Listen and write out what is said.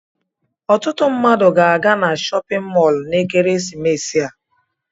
Ọtụtụ mmadụ ga-aga na chọpịn mọọlụ na ekeresimesi a.